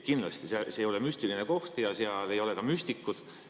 Kindlasti see ei ole müstiline koht ja seal ei ole ka müstikuid.